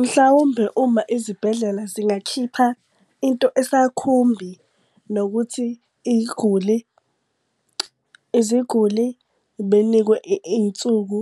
Mhlawumbe uma izibhedlela zingakhipha into esakhumbi, nokuthi iy'guli iziguli benikwe iy'nsuku